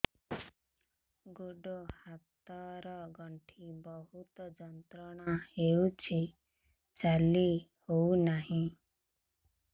ଗୋଡ଼ ହାତ ର ଗଣ୍ଠି ବହୁତ ଯନ୍ତ୍ରଣା ହଉଛି ଚାଲି ହଉନାହିଁ